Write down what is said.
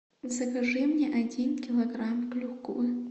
закажи мне один килограмм клюквы